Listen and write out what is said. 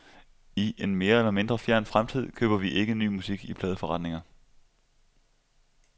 I en mere eller mindre fjern fremtid køber vi ikke ny musik i pladeforretninger.